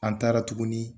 An taara tuguni